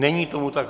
Není tomu tak.